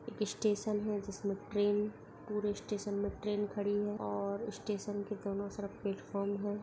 एक स्टेशन है जिसमें ट्रेन पूरे स्टेशन में ट्रेन खड़ी है और स्टेशन के दोनों तरफ प्लेटफार्म है।